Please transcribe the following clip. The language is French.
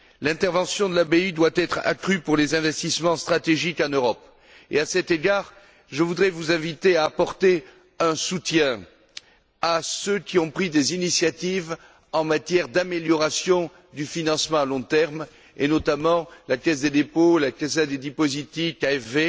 L'intervention de la BEI doit être accrue pour les investissements stratégiques en Europe et, à cet égard, je voudrais vous inviter à apporter un soutien à ceux qui ont pris des initiatives en matière d'amélioration du financement à long terme, et notamment la caisse des dépôts, la cassa dei depositi KfW.